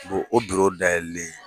Bo o dayɛlɛli